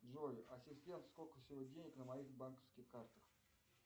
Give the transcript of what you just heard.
джой ассистент сколько всего денег на моих банковских картах